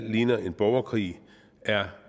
ligner en borgerkrig er